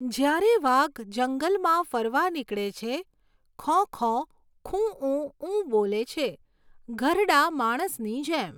જ્યારે વાઘ જંગલમાં ફરવા નીકળે છે, ખૉં, ખૉં, ખૂંઉ ઉ બોલે છે, ઘરડા માણસની જેમ!